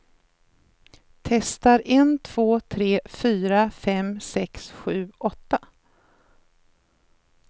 Testar en två tre fyra fem sex sju åtta.